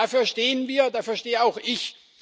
Dafür stehen wir, dafür stehe auch ich.